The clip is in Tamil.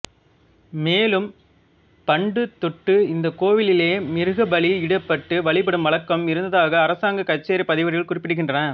மேலும் பண்டுதொட்டு இந்தக் கோவிலிலே மிருகபலி இடப்பட்டு வழிபடும் வழக்கம் இருந்தாக அரசாங்கக் கச்சேரிப் பதிவேடுகள் குறிப்பிடுகின்றன